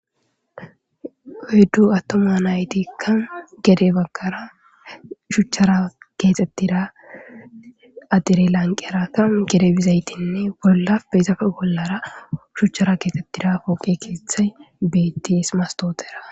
Oyddu attoma naytikka gede bagkara shuchchara keexxettira adire lanqerakka gede bizaytinne bolla peyzafe bollara shuchchara keexxettira pooqe keethay bettiis mastootera.